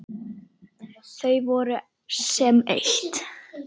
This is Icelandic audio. Þau voru sem eitt.